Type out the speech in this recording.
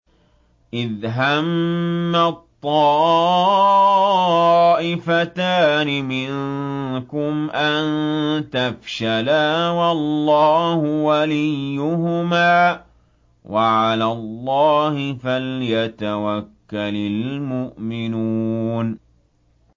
إِذْ هَمَّت طَّائِفَتَانِ مِنكُمْ أَن تَفْشَلَا وَاللَّهُ وَلِيُّهُمَا ۗ وَعَلَى اللَّهِ فَلْيَتَوَكَّلِ الْمُؤْمِنُونَ